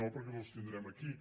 no perquè no els tindrem aquí